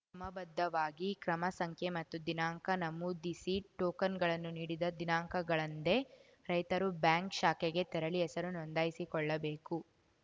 ಕ್ರಮ ಬದ್ಧವಾಗಿ ಕ್ರಮ ಸಂಖ್ಯೆ ಮತ್ತು ದಿನಾಂಕ ನಮೂದಿಸಿ ಟೋಕನ್‌ಗಳನ್ನು ನೀಡಿದ ದಿನಾಂಕಗಳಂದೇ ರೈತರು ಬ್ಯಾಂಕ್‌ ಶಾಖೆಗೆ ತೆರಳಿ ಹೆಸರು ನೋಂದಾಯಿಸಿಕೊಳ್ಳಬೇಕು